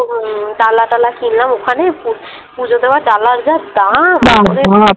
ডালা টালা কিনলাম ওখানে পু পূজো দেওয়ার ডালার যা দাম